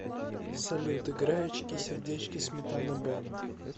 салют играй очки сердечки сметана бэнд